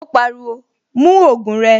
Ó pariwo, "mú ògùn rẹ."